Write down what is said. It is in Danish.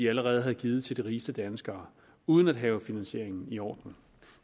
allerede havde givet til de rigeste danskere uden at have finansieringen i orden